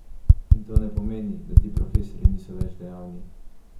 In to ne pomeni, da ti profesorji niso več dejavni.